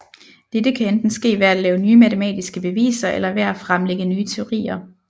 Dette kan enten ske ved at lave nye matematiske beviser eller ved at fremlægge nye teorier